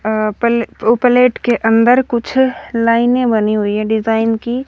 अ पले ओ प्लेट के अंदर कुछ लाइनें बनी हुई है डिजाइन की--